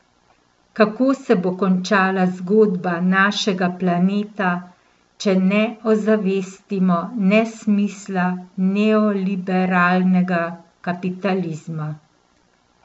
Kako se bo končala zgodba našega planeta, če ne ozavestimo nesmisla neoliberalnega kapitalizma?